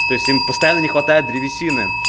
то есть им постоянно не хватает древесины